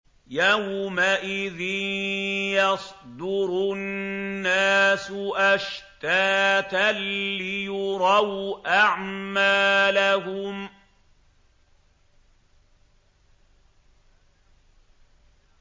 يَوْمَئِذٍ يَصْدُرُ النَّاسُ أَشْتَاتًا لِّيُرَوْا أَعْمَالَهُمْ